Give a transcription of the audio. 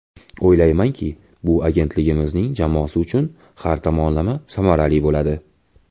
O‘ylaymanki, bu agentligimiz jamoasi uchun har tomonlama samarali bo‘ladi.